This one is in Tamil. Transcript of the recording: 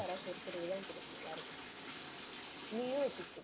யாராச்சும் ஒருத்தருக்கு தான் கொடுக்கணும் யாருக்கு கொடுப்ப. நீயும் வச்சுக்கக்கூ~